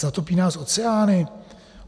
Zatopí nás oceány?"